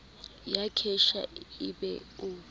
ya cashier e be o